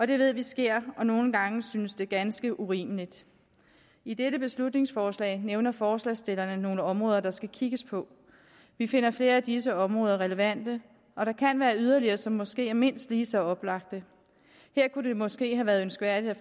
det ved vi sker og nogle gange synes det ganske urimeligt i dette beslutningsforslag nævner forslagsstillerne nogle områder der skal kigges på vi finder flere af disse områder relevante og der kan være yderligere som måske er mindst lige så oplagte her kunne det måske have være ønskværdigt at